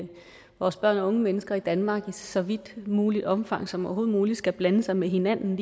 vores børn og unge mennesker i danmark i så vidt muligt omfang som overhovedet muligt skal blande sig med hinanden